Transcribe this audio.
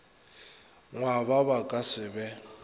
ngwaba ba ka se be